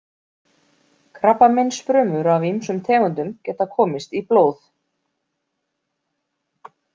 Krabbameinsfrumur af ýmsum tegundum geta komist í blóð.